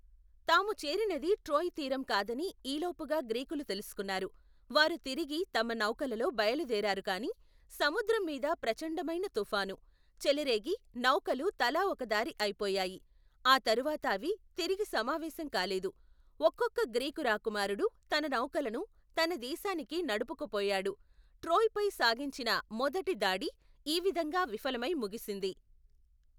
తాము చేరినది ట్రోయ్ తీరం కాదని ఈలోపుగా గ్రీకులు తెలుసుకున్నారు, వారు తిరిగి తమ, నౌకలలో బయలుదేరారు కాని, సముద్రంమీద ప్రచండమైన తుఫాను, చెలరేగి నౌకలు తలా ఒకదారి అయిపోయాయి, ఆ తరువాత అవి తిరిగి సమావేశం కాలేదు, ఒక్కొక్క గ్రీకు రాకుమారుడు తన నౌకలను తనదేశానికి నడుపుకుపోయాడు, ట్రోయ్ పై సాగించిన మొదటి దాడి ఈ విధంగా విఫలమై ముగిసింది.